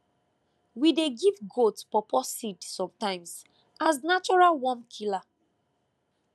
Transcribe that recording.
we dey give goat pawpaw seed sometimes as natural worm killer